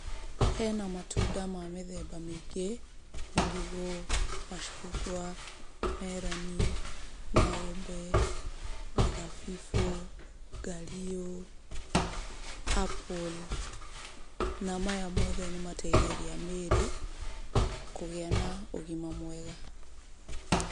Hena matunda ma mĩthemba mĩingĩ; marigũ, macungwa, meroni, maembe, mathabibũ, ngario, apple, na maya mothe nĩ mateithagia mĩĩrĩ, kũgĩa na ũgima mwega.